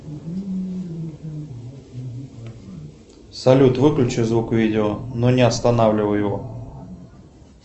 салют выключи звук видео но не останавливай его